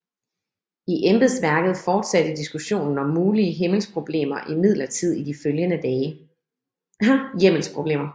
I embedsværket fortsatte diskussionen om mulige hjemmelsproblemer imidlertid i de følgende dage